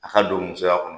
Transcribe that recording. A ka don musoya kɔnɔ